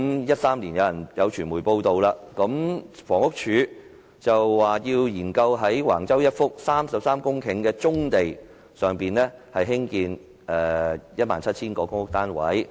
有傳媒在2013年報道，房屋署說要研究在橫洲一幅33公頃的棕地上興建 17,000 個公屋單位。